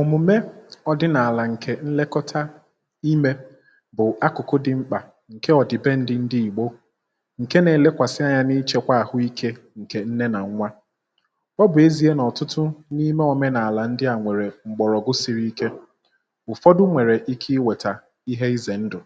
òmùme ọ̀dịnàlà ǹkè nlekọta imė bụ̀ akụ̀kụ̀ dị mkpà ǹke ọ̀dị̀pendị ndị ìgbo, ị hụ̀? ọ bụ ihe na-elekwàsị anya n’ịchekwa àhụikė ǹkè nne nà nwa. ọ bụ̀ ezi̇ė nà ọ̀tụtụ n’ime òmenàlà ndị à nwèrè m̀gbọ̀rọ̀gwụ siri ike, um ụ̀fọdụ nwèrè ike iwètà ihe izèndụ̀,